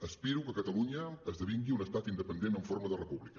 aspiro que catalunya esdevingui un estat independent en forma de república